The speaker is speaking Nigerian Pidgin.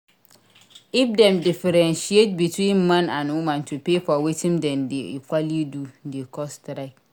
If dem diffentiaate between man and woman to pay for wetin them de equaly do de cause strike